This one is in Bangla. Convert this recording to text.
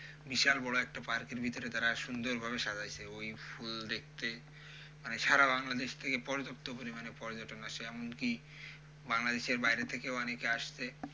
বিশাল বড়ো একটা park এর ভিতরে তারা সুন্দরভাবে সাজাইছে। ওই ফুল দেখতে মানে সারা বাংলাদেশ থেকে পর্যাপ্ত পরিমাণে পর্যটক আসে, এমনকি বাংলাদেশের বাইরে থেকেও অনেকে আসছে।